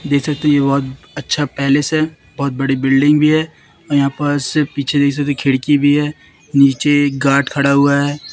देख सकते हैं ये बहोत अच्छा पैलेस है बहोत बड़ी बिल्डिंग भी है और यहां पास पीछे कई सारी खिड़की भी है नीचे एक गार्ड खड़ा हुआ है।